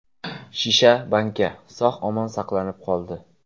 Shisha banka, sog‘-omon saqlanib qoldi.